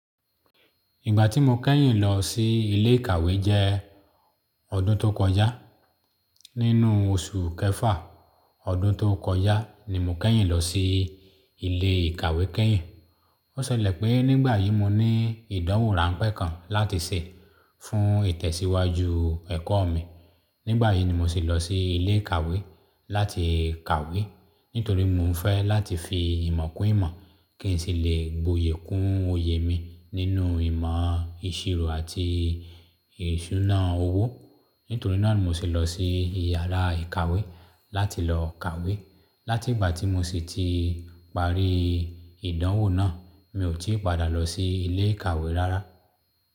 Ìgbà tí mo kẹ́yìn lọ sí ilé ìkàwé jẹ́ ọdún tó kọjá. Nínú oṣù kẹfà ọdún tó kọjá ni mo kẹ́yìn lọ sí ilé ìkàwé kẹ́yìn. Ó ṣẹlẹ̀ pé nígbà yí mo ní ìdánwò ráńpẹ́ kan láti ṣe fún ìtẹ̀síwájú ẹ̀kọ́ mi. Nígbà yìí ni mo sì lọ sí ilé ìkàwé láti kàwé. Nítorí mo ń fẹ́ láti fi ìmọ̀ kún ìmọ̀ kí n sì lè gboyè kún oyè mi nínú ìmọ̀ ìṣirò àti ìṣúná owó. Nítorí náà ni mo sì lọ sí yàrá ìkàwé láti lọ kàwé. Láti ìgbà tí mo sì ti parí ìdánwò náà, mi ò tí padà lọ sí ilé ìkàwé rárá.